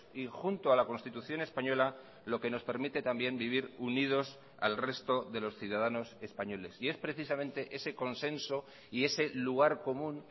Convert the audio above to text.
y junto a la constitución española lo que nos permite también vivir unidos al resto de los ciudadanos españoles y es precisamente ese consenso y ese lugar común